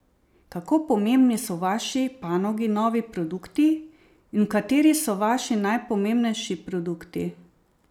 Kako pomembni so v vaši panogi novi produkti in kateri so vaši najpomembnejši produkti?